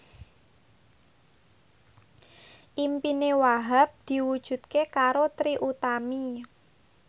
impine Wahhab diwujudke karo Trie Utami